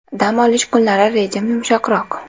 Dam olish kunlari rejim yumshoqroq.